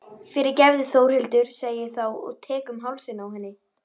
Fyrirgefðu Þórhildur, segi ég þá og tek um hálsinn á henni.